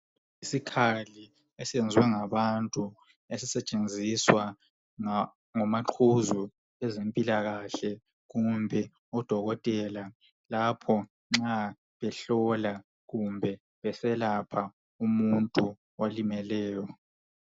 Isikhali esiyenziwe ngabantu esisetshenziswa ngomaqhuzu bezimpilakahle kumbe odokotela, lapho nxa behlola kumbe beselapha umuntu olimeleyo.